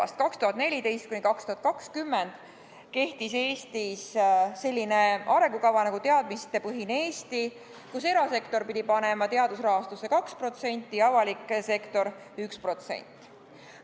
Aastatel 2014–2020 kehtis Eestis arengukava "Teadmistepõhine Eesti", mille järgi erasektor pidi panema teadusrahastusse 2% ja avalik sektor 1%.